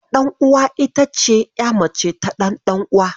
Ƴarɗanuwa ita ce ƴa mace ta ɗanuwa.